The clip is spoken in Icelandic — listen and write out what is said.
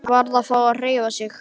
Hann varð að fá að hreyfa sig.